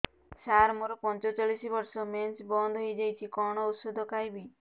ସାର ମୋର ପଞ୍ଚଚାଳିଶି ବର୍ଷ ମେନ୍ସେସ ବନ୍ଦ ହେଇଯାଇଛି କଣ ଓଷଦ ଖାଇବି